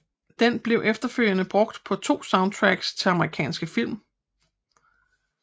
Den blev efterfølgende brugt på to soundtracks til amerikanske film